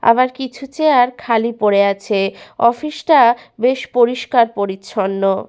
আবার কিছু চেয়ার খালি পড়ে আছে। অফিস -টা বেশ পরিষ্কার পরিচ্ছন্ন।